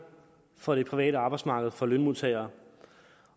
fra det private arbejdsmarked og for lønmodtagere